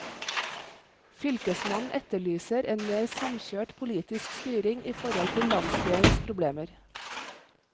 Fylkesmannen etterlyser en mer samkjørt politisk styring i forhold til landsdelens problemer.